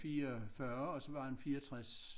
44 og så var han 64